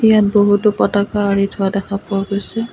ইয়াত বহুতো পতাকা আঁৰি থোৱা দেখা পোৱা গৈছে।